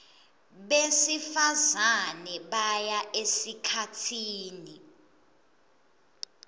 besifazane baya esikhatsini